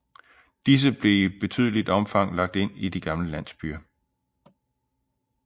Disse blev i betydeligt omfang lagt i de gamle landsbyer